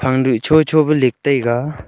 phang du cho cho pu lik taiga.